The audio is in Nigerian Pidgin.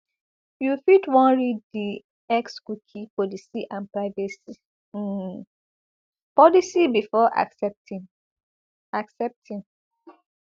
you fit wan read di xcookie policyandprivacy um policybefore accepting accepting